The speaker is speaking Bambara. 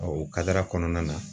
o kadara kɔnɔna na.